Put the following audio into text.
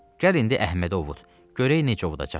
Gəl indi Əhməd ovut, görək necə ovudacaqsan.